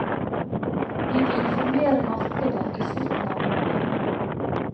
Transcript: Vi vil informere markedet i slutten av mai.